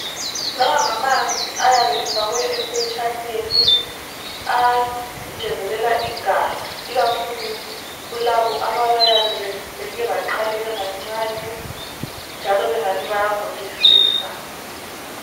Lawa ngamanzi ayabe efakwe ephetshaneni angezelela igazi ikakhulu kulabo abayabe beke baqaleka kancane njalo bengani bayagulisisa.